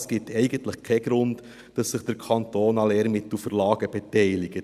Es gibt eigentlich keinen Grund, dass sich der Kanton an Lehrmittelverlagen beteiligt.